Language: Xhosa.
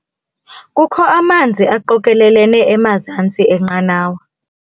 Kukho amanzi aqokelelene emazantsi enqanawa.